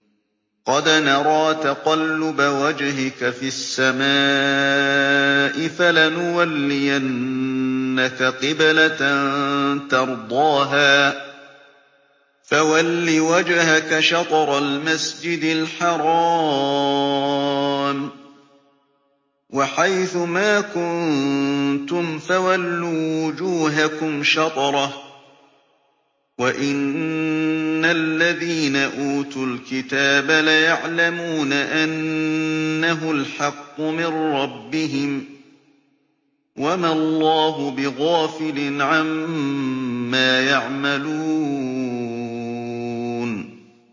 قَدْ نَرَىٰ تَقَلُّبَ وَجْهِكَ فِي السَّمَاءِ ۖ فَلَنُوَلِّيَنَّكَ قِبْلَةً تَرْضَاهَا ۚ فَوَلِّ وَجْهَكَ شَطْرَ الْمَسْجِدِ الْحَرَامِ ۚ وَحَيْثُ مَا كُنتُمْ فَوَلُّوا وُجُوهَكُمْ شَطْرَهُ ۗ وَإِنَّ الَّذِينَ أُوتُوا الْكِتَابَ لَيَعْلَمُونَ أَنَّهُ الْحَقُّ مِن رَّبِّهِمْ ۗ وَمَا اللَّهُ بِغَافِلٍ عَمَّا يَعْمَلُونَ